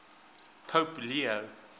pope leo